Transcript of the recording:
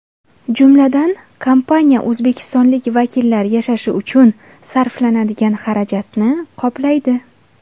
Jumladan, kompaniya O‘zbekistonlik vakillar yashashi uchun sarflanadigan xarajatni qoplaydi.